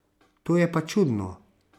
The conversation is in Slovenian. To je pa čudno.